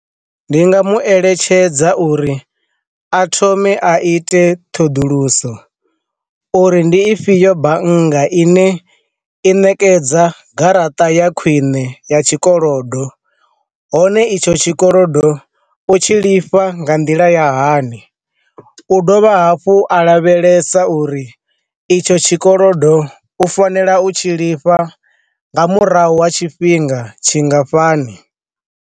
Ndi nga mu eletshedza uri a thome a ite ṱhoḓuluso, uri ndi ifhio bannga ine i ṋekedza garaṱa ya khwine ya tshikolodo, hone itsho tshikolodo u tshi lifha nga nḓila ya hani, u dovha hafhu a lavhelesa uri itsho tshikolodo u fanela u tshi lifha nga murahu ha tshifhinga tshingafhani.